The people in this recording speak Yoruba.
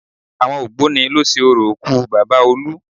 Àwọn ògbóni ló ṣe orò òkú Bàbá olú